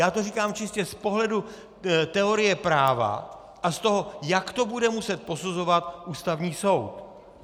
Já to říkám čistě z pohledu teorie práva a z toho, jak to bude muset posuzovat Ústavní soud.